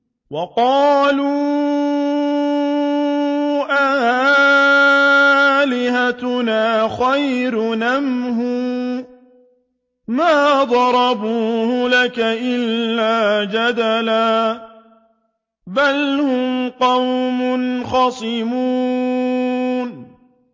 وَقَالُوا أَآلِهَتُنَا خَيْرٌ أَمْ هُوَ ۚ مَا ضَرَبُوهُ لَكَ إِلَّا جَدَلًا ۚ بَلْ هُمْ قَوْمٌ خَصِمُونَ